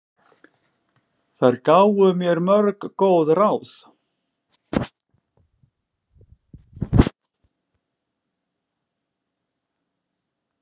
Þær gáfu mér mörg góð ráð.